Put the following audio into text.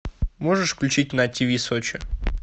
можешь включить на тиви сочи